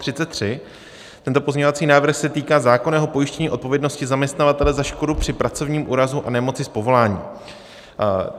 Tento pozměňovací návrh se týká zákonného pojištění odpovědnosti zaměstnavatele za škodu při pracovním úrazu a nemoci z povolání.